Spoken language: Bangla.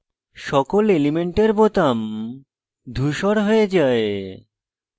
সকল element বোতাম ধূসর হয়ে যায়